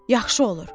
Yaxşı olur.